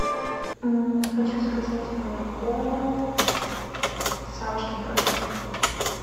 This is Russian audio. хочу заказать молоко савушкин продукт